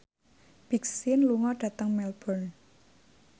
Big Sean lunga dhateng Melbourne